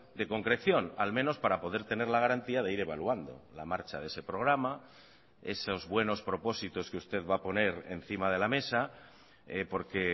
de concreción al menos para poder tener la garantía de ir evaluando la marcha de ese programa esos buenos propósitos que usted va a poner encima de la mesa porque